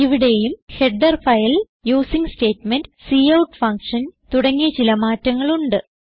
ഇവിടേയും header file using statement cout function തുടങ്ങിയ ചില മാറ്റങ്ങൾ ഉണ്ട്